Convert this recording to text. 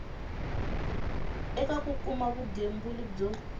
eka ku kuma vugembuli byo